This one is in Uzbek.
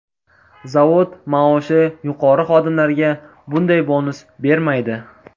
Zavod maoshi yuqori xodimlarga bunday bonus bermaydi.